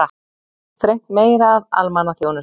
Þrengt meira að almannaþjónustu